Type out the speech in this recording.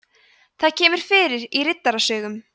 það kemur fyrir í riddarasögum